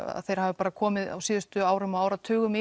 þeir hafi bara komið á síðustu árum og áratugum